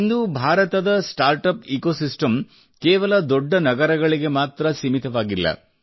ಇಂದು ಭಾರತದ startup ecosystem ಕೇವಲ ದೊಡ್ಡ ನಗರಗಳಿಗೆ ಮಾತ್ರ ಸೀಮಿತವಾಗಿಲ್ಲ